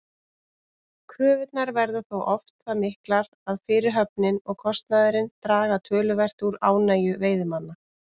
Kröfurnar verða þó oft það miklar að fyrirhöfnin og kostnaðurinn draga töluvert úr ánægju veiðimanna.